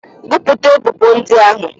Gụpụta ebubo ndị ahụ!